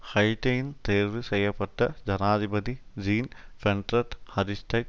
ஹைட்டியின் தேர்வு செய்ய பட்ட ஜனாதிபதி ஜீன் பெண்ட்ரட் அரிஸ்டைட்